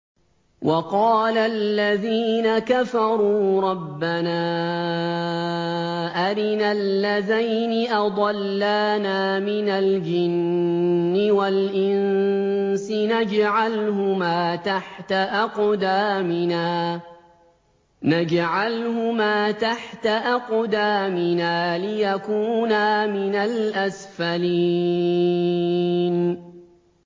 وَقَالَ الَّذِينَ كَفَرُوا رَبَّنَا أَرِنَا اللَّذَيْنِ أَضَلَّانَا مِنَ الْجِنِّ وَالْإِنسِ نَجْعَلْهُمَا تَحْتَ أَقْدَامِنَا لِيَكُونَا مِنَ الْأَسْفَلِينَ